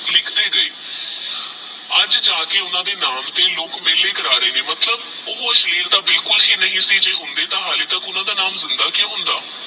ਅਜੇ ਜਾ ਕੇ ਓਹਨਾ ਦੇ ਨਾਮ ਤੇਹ ਲੋਕ ਮਿਲਣੀ ਕਰ ਰੇ ਨੇ ਓਹ ਅਸਲੀਲ ਤੇਹ ਬਿਲਕੁਲ ਨਹੀ ਸੇ ਜੇ ਹੋਂਦੇ ਤਹ ਓਹਨਾ ਦਾ ਨਾਮ ਜਿੰਦਾ ਕੁ ਹੋਂਦਾ